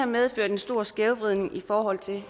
medført en stor skævhed i forhold til